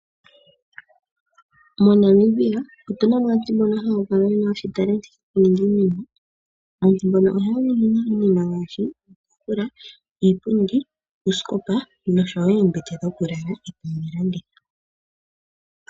MoNamibia otuna mo aantu mboka haya kala yena uunkulungu wokuninga iinima. Aantu mboka ohaya ningi ne iinima ngaashi iitafula, iipundi, oosikopa nosho wo oomebete dhookulala.